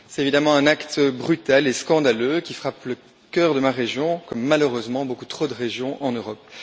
C'est évidemment un acte brutal et scandaleux qui frappe le cœur de ma région, comme malheureusement beaucoup trop de régions en Europe.